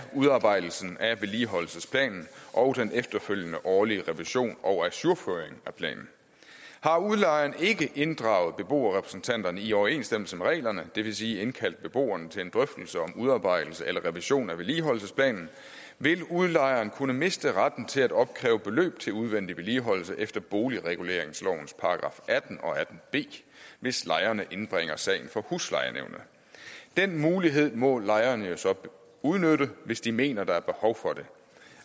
udarbejdelsen af vedligeholdelsesplanen og den efterfølgende årlige revision og ajourføring af planen har udlejeren ikke inddraget beboerrepræsentanterne i overensstemmelse med reglerne det vil sige indkaldt beboerne til en drøftelse om udarbejdelse eller revision af vedligeholdelsesplanen vil udlejeren kunne miste retten til at opkræve beløb til udvendig vedligeholdelse efter boligreguleringslovens § atten og § atten b hvis lejerne indbringer sagen for huslejenævnet den mulighed må lejerne jo så udnytte hvis de mener at der er behov for det